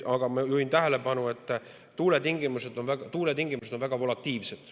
Aga ma juhin tähelepanu, et tuuletingimused on väga volatiilsed.